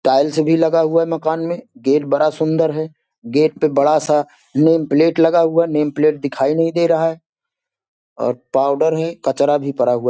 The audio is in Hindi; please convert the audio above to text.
टाइल्स भी लगा हुआ है मकान में गेट बड़ा सुंदर है। गेट पे बड़ा सा नेम प्लेट लगा हुआ है नेम प्लेट दिखाई नहीं दे रहा है और पाउडर है कचरा भी पड़ा हुआ--